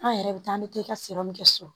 An yɛrɛ bɛ taa an bɛ taa i ka min kɛ so